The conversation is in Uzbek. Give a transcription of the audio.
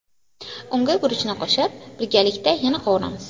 Unga guruchni qo‘shib, birgalikda yana qovuramiz.